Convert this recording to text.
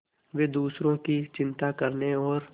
वे दूसरों की चिंता करने और